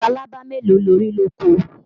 Labalábá mélòó lo rí lóko?